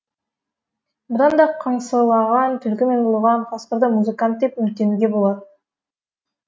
бұдан да қыңсылаған түлкі мен ұлыған қасқырды музыкант деп үміттенуге болар